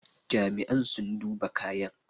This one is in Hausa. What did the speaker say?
Jami'an sun duba kayan